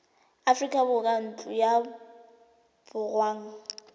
aforika borwa ntlo ya borongwa